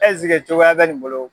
cogoyaya bɛ nin bolo?